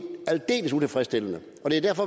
aldeles utilfredsstillende